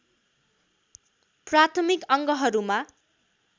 प्राथमिक अङ्गहरूमा